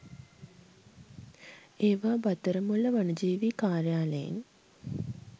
ඒවා බත්තරමුල්ල වනජීවී කාර්යාලයෙන්